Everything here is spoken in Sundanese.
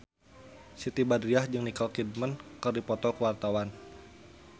Siti Badriah jeung Nicole Kidman keur dipoto ku wartawan